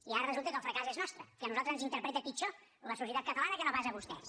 i ara resulta que el fracàs és nostre que a nosaltres ens interpreta pitjor la societat catalana que no pas a vostès